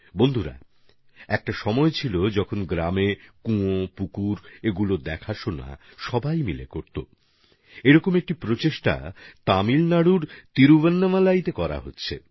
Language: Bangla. বন্ধুগণ একটা সময় ছিল যখন গ্রামের কুয়ো পুকুরগুলির যত্ন সবাই মিলে নিতেন এখন এরকমই এক প্রচেষ্টা তামিলনাডুর তিরুবন্নামালাইয়ে হচ্ছে